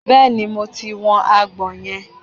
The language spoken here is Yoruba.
bẹẹni mo ti wu agbọ̀n yẹn